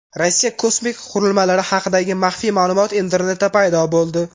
Rossiya kosmik qurilmalari haqidagi maxfiy ma’lumot internetda paydo bo‘ldi.